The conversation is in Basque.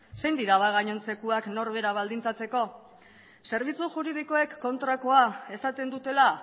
zein dira ba gainontzekoak norbera baldintzatzeko zerbitzu juridikoek kontrakoa esaten dutela